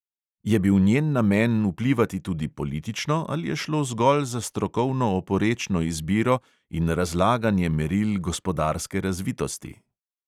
Je bil njen namen vplivati tudi politično ali je šlo zgolj za strokovno oporečno izbiro in razlaganje meril gospodarske razvitosti?